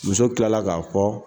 Muso tilala k'a fɔ